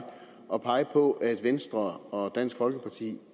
at pege på at venstre og dansk folkeparti